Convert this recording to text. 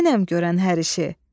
Mənəm görən hər işi.